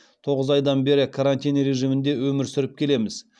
тоғыз айдан бері карантин режимінде өмір сүріп келеміз